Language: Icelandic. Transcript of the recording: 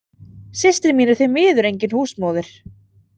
Systir mín er því miður engin húsmóðir.